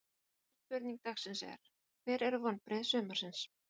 Síðari spurning dagsins er: Hver eru vonbrigði sumarsins?